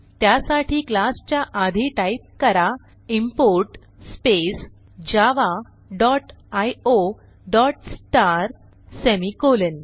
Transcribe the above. त्यासाठी क्लास च्या आधी टाईप करा import space Java dot IO dot star semicolon